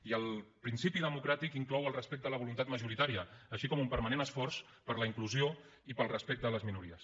i el principi democràtic inclou el respecte a la voluntat majoritària així com un permanent esforç per la inclusió i pel respecte de les minories